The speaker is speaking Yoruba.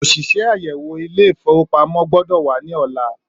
Òṣìṣẹ́ àyèwò Ilé-ìfowópamó gbọ́dọ̀ wa ní ọ̀la.